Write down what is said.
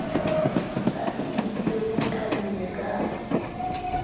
a tiise le qhelele ka